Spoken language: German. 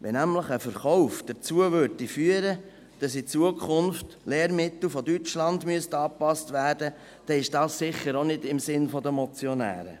Wenn nämlich ein Verkauf dazu führen würde, dass in Zukunft Lehrmittel aus Deutschland angepasst werden müssten, dann ist dies sicher auch nicht im Sinn der Motionäre.